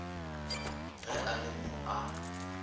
ge a le mo a